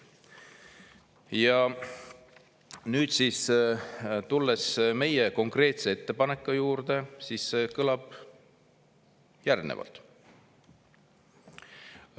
Ja nüüd tulen meie konkreetse ettepaneku juurde, mis kõlab järgnevalt.